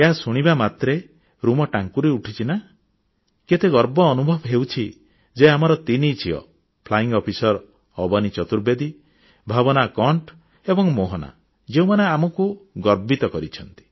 ଏହା ଶୁଣିବା ମାତ୍ରେ ଲୋମ ଟାଙ୍କୁରି ଉଠୁଛି ନା କେତେ ଗର୍ବ ଅନୁଭବ ହେଉଛି ଯେ ଆମର ତିନି ଝିଅ ଫ୍ଲାଇଂ ଅଫିସର ଅବନୀ ଚତୁର୍ବେଦୀ ଭାବନା କଣ୍ଠ ଏବଂ ମୋହନା ଯେଉଁମାନେ ଆମକୁ ଗର୍ବିତ କରିଛନ୍ତି